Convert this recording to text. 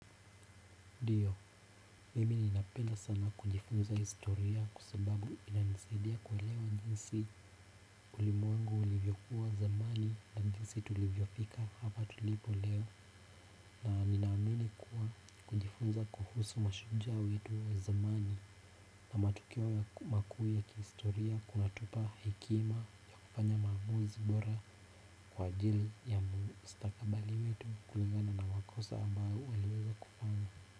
Ndiyo, mimi ninapenda sana kujifunza historia kwasababu inanisaidia kuelewa jinsi ulimwengu ulivyo kuwa zamani na jinsi tulivyofika hapa tulipo leo na nina amini kuwa kujifunza kuhusu mashuja wetu wa zamani na matukio ya makuu ya kihistoria kunatupa hekima ya kufanya maamuzi bora kwa ajili ya mstakabali wetu kulingana na makosa ambayo uliweleza kufanya.